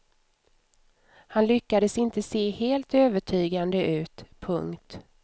Han lyckades inte se helt övertygande ut. punkt